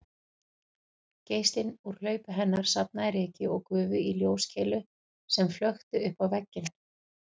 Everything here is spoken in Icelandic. Geislinn úr hlaupi hennar safnaði ryki og gufu í ljóskeilu sem flökti uppá vegginn